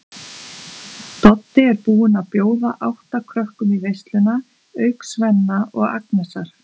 Doddi er búinn að bjóða átta krökkum í veisluna auk Svenna og Agnesar.